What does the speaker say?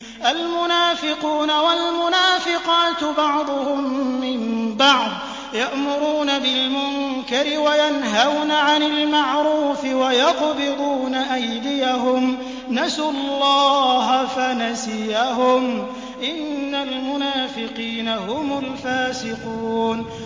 الْمُنَافِقُونَ وَالْمُنَافِقَاتُ بَعْضُهُم مِّن بَعْضٍ ۚ يَأْمُرُونَ بِالْمُنكَرِ وَيَنْهَوْنَ عَنِ الْمَعْرُوفِ وَيَقْبِضُونَ أَيْدِيَهُمْ ۚ نَسُوا اللَّهَ فَنَسِيَهُمْ ۗ إِنَّ الْمُنَافِقِينَ هُمُ الْفَاسِقُونَ